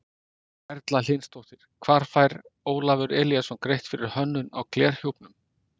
Erla Hlynsdóttir: Hvað fær Ólafur Elíasson greitt fyrir hönnun á glerhjúpnum?